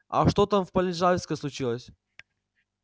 а что там с полежаевской случилось